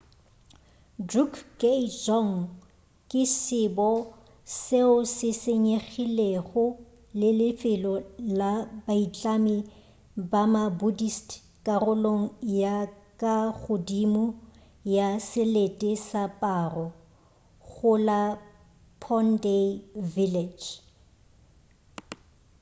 drukgay dzong ke sebo seo se senyegilego le lefelo la baitlami ba ma-buddhist karolong ya ka godimo ya selete sa paro go la phondey village